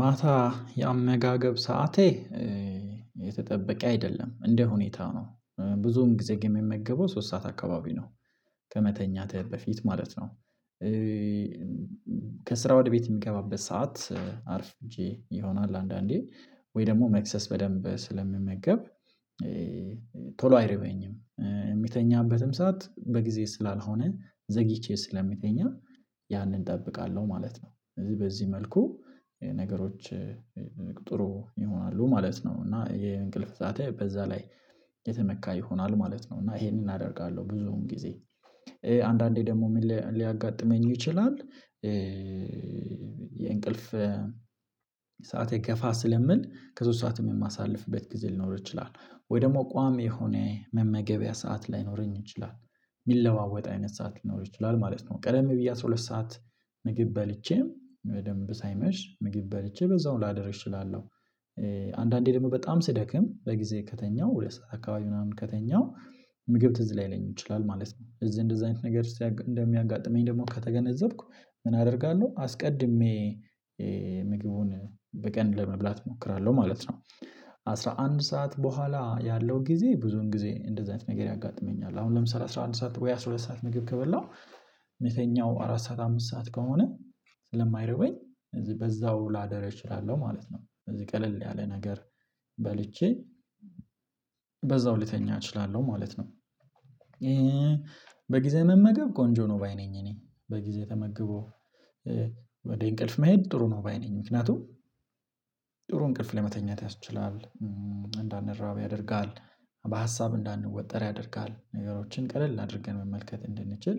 ማታ የአመጋግብ ሰዓቴ የተጠበቀ አይደለም እንደ ሁኔታው ነው። ብዙም ጊዜ የሚመገበው ሶስት ሰዓት አካባቢ ነው። ከመተኛተህ በፊት ማለት ነው። ከስራ ወደ ቤት የሚገባበት ሰዓት አርፍጄ ይሆናል አንዳንዴ ወይ ደግሞ መክሰስ በደንብ ስለምመገብ። ቶሎ አይረበኝም የምተኛበትም ሰዓት በጊዜ ስላልሆነ ዘግይቼ ስለሚተኛ ያንን እጠብቃለሁ ማለት ነው። እዚህ በዚህ መልኩ ነገሮች ጥሩ ይሆናሉ ማለት ነው። እና የእንቅልፍ ሰዓቴ በዛ ላይ የተመካ ይሆናል ማለት ነው። እና ይሄንን አደርጋለሁ ብዙም ጊዜ አንዳንዴ ደግሞ ምን ሊያጋጥመኝ ይችላል? የእንቅልፍ ሰዓት ገፋ ስለሚል ከሶስት ሰዓትም የማሳልፍበት ጊዜ ሊኖር ይችላል። ወይ ደግሞ ቋሚ የሆነ መመገቢያ ሰዓት ላይኖረኝ ይችላል። የሚለዋወጥ አይነት ሰዓት ሊኖር ይችላል ማለት ነው። ቀደም ብዬ አስራ ሁለት ሰዓት ምግብ በልቼም በደንብ ሳይመሽ ምግብ በልቼ በዛው ላደርስ እችላለሁ። አንዳንዴ ደግሞ በጣም ስደክም በጊዜ ከተኛሁ ሁለት ሰዓት አካባቢ ምናምን ከተኛሁ ምግብ ትዝ ላይለኝ ይችላል ማለት ነው። እዚህ እንደዚህ አይነት ነገር እንደሚያጋጥመኝ ደግሞ ከተገነዘብኩ ምን አደርጋለሁ አስቀድሜ ምግቡን በቀን ለመብላት እሞክራለሁ ማለት ነው። አስራ አንድ ሰዓት በኋላ ያለው ጊዜ ብዙን ጊዜ እንደዚህ አይነት ነገር ያጋጥመኛል አሁን ለምሳሌ አስራ አንድ ሰዓት ወይ አስራ ሁለት ሰዓት ምግብ ከበላሁ የተኛሁ አራት ሰዓት አምስት ሰዓት ከሆነ ስለማይረበኝ እዚህ በዛው ላድር እችላለሁ ማለት ነው። ቀለል ያለ ነገር በልቼ በዛው ልተኛ እችላለሁ ማለት ነው። በጊዜ መመገብ ጎንጆ ነው ባይ ነኝ እኔ በጊዜ ተመግቦ ወደ እንቅልፍ መሄድ ጥሩ ነው ባይ ነኝ ምክንያቱም ጥሩ እንቅልፍ ላይ መተኛት ያስችላል። እንዳንረባ ያደርጋል በሀሳብ እንዳንወጠር ያደርጋል ነገሮችን ቀለል አድርገን መመልከት እንድንችል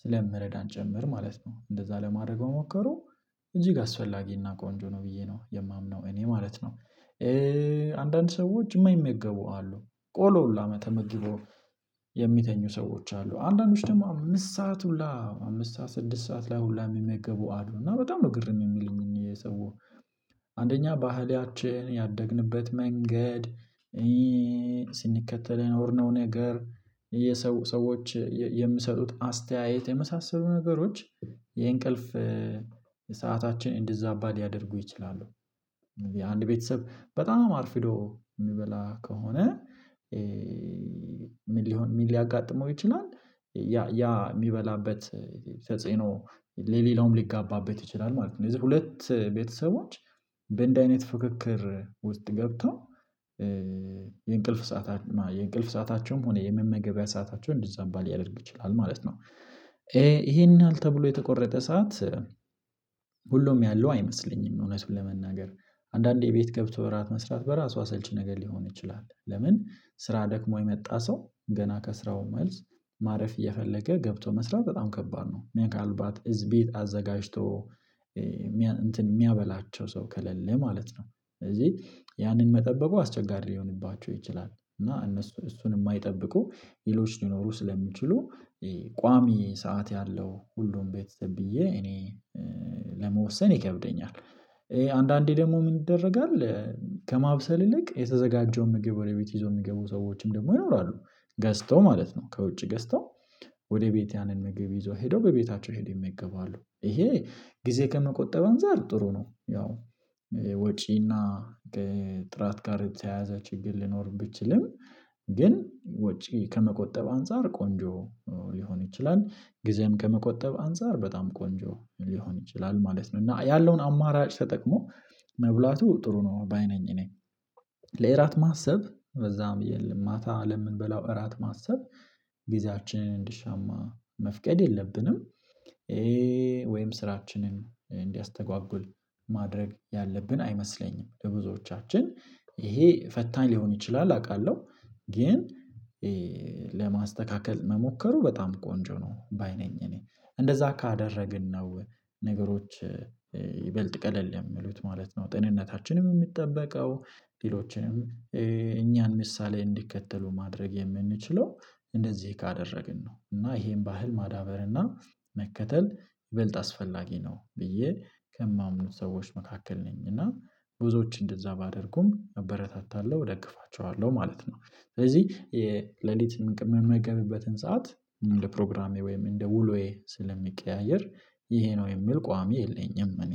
ስለሚረዳ ጨምር ማለት ነው። እንደዛ ለማድረግ መሞከሩ እጅግ አስፈላጊና ቆንጆ ነው ብዬ ነው የማምነው እኔ ማለት ነው። አንዳንድ ሰዎች የማይመገቡ አሉ። ቆሎ ሁላ መተመግበው የሚተኙ ሰዎች አሉ አንዳንዶች ደግሞ አምስት ሰዓት ሁላ አምስት ሰዓት ስድስት ሰዓት ላይ ሁሉ የሚመገቡ አዱ እና በጣም ነው ግርም የሚለኝን የሰዎች ባህልያችን ያደግንበት መንገድ ስንከተል የኖርነው ነገር የሰው ሰዎች የምሰጡት አስተያየት የመሳሰሉ ነገሮች የእንቅልፍ ሰዓታችን እንዲዛ ሊያደርጉ ይችላሉ። አንድ ቤተሰብ በጣም አርፊዶ የሚበላ ከሆነ ምን ሊሆን ምን ሊያጋጥመው ይችላል? ያ የሚበላበት ተጽኖ ለሌላውም ሊጋባበት ይችላል ማለት ነው። የዚህ ሁለት ቤተሰቦች በአንደ አይነት ፍክክር ውስጥ ገብቶ የእንቅልፍ ሰአታቸውም ሆነ የመመገቢያ ሰአታቸውን እንደዛባ ሊያደርግ ይችላል ማለት ነው። ይሄን ያህል ተብሎ የተቆረጠ ሰዓት ሁሉም ያለው አይመስለኝም። እውነቱን ለመናገር አንዳንዴ ቤት ገብቶ በራት መስራት በራሷ ሰልች ነገር ሊሆን ይችላል። ለምን ስራ ደክሞ የመጣ ሰው ገና ከስራው መልስ ማረፍ እየፈለገ ገብቶ መስራት በጣም ከባድ ነው። ከአልባት እዝ ቤት አዘጋጅቶ የሚያበላቸው ሰው ከሌለ ማለት ነው። ስለዚህ ያንን መጠበቁ አስቸጋሪ ሊሆንባቸው ይችላል እና እነሱ እሱን የማይጠብቁ ሌሎች ሊኖሩ ስለሚችሉ ቋሚ ሰዓት ያለው ሁሉም ቤተሰብ ብዬ እኔ ለመወሰን ይከብደኛል። አንዳንዴ ደግሞ ምን ይደረጋል ከማብሰል ይልቅ የተዘጋጀው ምግብ ወደ ቤት ይዞ የሚገቡ ሰዎችም ደግሞ ይኖራሉ። ገዝተው ማለት ነው ከውጭ ገዝተው ወደ ቤት ያንን መገቢ ይዞ ሄደው በቤታቸው ሄደው ይገባሉ ይሄ ጊዜ ከመቆጠብ አንፃር ጥሩ ነው። ያው ወጪና ከጥራት ጋር የተያያዘ ችግር ሊኖር ቢችልም ግን ውጪ ከመቆጠብ አንፃር ቆንጆ ሊሆን ይችላል ጊዜም ከመቆጠብ አንፃር በጣም ቆንጆ ሊሆን ይችላል ማለት ነው። እና ያለውን አማራጭ ተጠቅሞ መብላቱ ጥሩ ነው ባይ ነኝ እኔ ለእራት ማሰብ በዛም የለም። ማታ ለምንበላው እራት ማሰብ እንድሻማ መፍቀድ የለብንም። ይሄ ስራችንን እንዲያስተጓጉት ማድረግ ያለብን አይመስለኝም። ለብዙዎቻችን ይሄ ፈታኝ ሊሆን ይችላል አውቃለሁ ግን ለማስተካከል መሞከሩ በጣም ቆንጆ ነው ባይ ነኝ እኔ እንደዛ ካደረግን ነው። ነገሮች ይበልጥ ቀለል የሚሉት ማለት ነው። ጥንነታችንም የሚጠበቀው ሌሎችንም እኛን ምሳሌ እንዲከተሉ ማድረግ የምንችለው እንደዚህ ካደረግን ነው። እና ይሄን ባህል ማዳበር እና መከተል ይበልጥ አስፈላጊ ነው። ብዬ ከማምኑት ሰዎች መካከል ነኝ እና ብዙዎች እንደዛ ባደርጉም አበረታታለሁ ደግፋቸዋለሁ ማለት ነው። ስለዚህ የሌሊት የምንመገብበትን ሰዓት እንደ ፕሮግራሜ ወይም እንደ ውሎዬ ስለሚቀያየር ይሄ ነው የሚል ቋሚ የለኝም እኔ